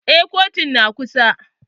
Eh kotun na kusa